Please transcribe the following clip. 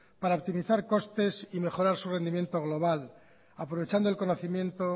para optimizar costes y mejorar su rendimiento global aprovechando el conocimiento